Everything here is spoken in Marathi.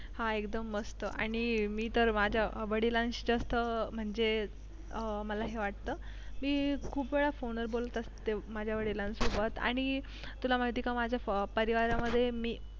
हा एकदम मस्त आणि मी तर माझ्या वडिलांची जास्त अं म्हणजे अं मला हे वाटतं मी खूप वेळा फोनवर बोलत असते माझ्या वडिलांसोबत आणि तुला माहिती का माझ्या परिवारामध्ये मी